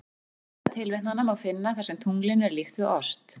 Fjölda tilvitnana má finna þar sem tunglinu er líkt við ost.